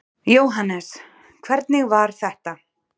Jóhannes: Hvernig var þetta?